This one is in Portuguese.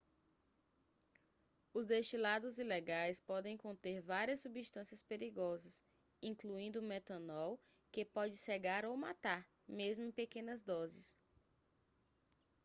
os destilados ilegais podem conter várias substâncias perigosas incluindo metanol que pode cegar ou matar mesmo em pequenas doses